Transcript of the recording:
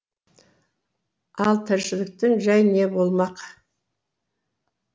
ал тіршіліктің жәйі не болмақ